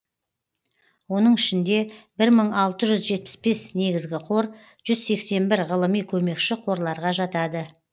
оның ішінде бір мың алты жүз жетпіс бес негізгі қор жүз сексен бір ғылыми көмекші қорларға жатады